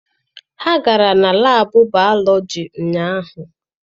Ha gara na laabụ baalọji ụnyaahụ.